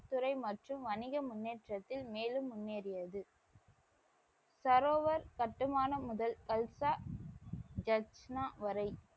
துறை மற்றும் வணிக முன்னேற்றத்தில் மேலும் முன்னேறியது. சரோவர் கட்டுமானம் முதல் கல்சா ஜாஸ்மா வரை,